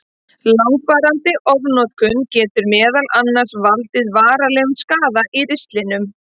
Langvarandi ofnotkun getur meðal annars valdið varanlegum skaða í ristlinum.